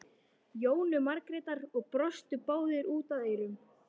Jónu Margrétar og brostu báðar út að eyrum.